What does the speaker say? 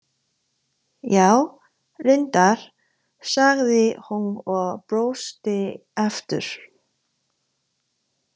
Já, reyndar, sagði hún og brosti aftur.